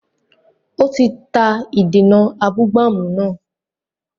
Ó ti ta ìdènà abúgbàmù náà